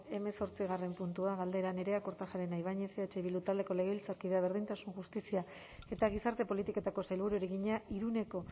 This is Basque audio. hamazortzigarren puntua galdera nerea kortajarena ibañez eh bildu taldeko legebiltzarkideak berdintasun justizia eta gizarte politiketako sailburuari egina iruneko